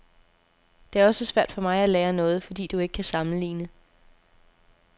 Det er også svært for mig at lære noget, fordi du ikke kan sammenligne.